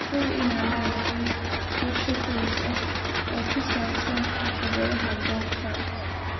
Hubi inaad leedahay qorshe kadis ah oo ku saabsan caqabadaha goobta.